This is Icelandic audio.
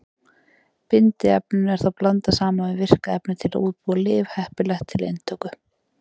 Bindiefninu er þá blandað saman við virka efnið til að útbúa lyf heppileg til inntöku.